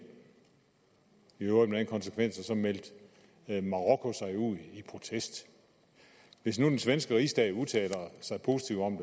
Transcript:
i øvrigt med den konsekvens at marokko så sig ud i protest og hvis den svenske rigsdag udtaler sig positivt om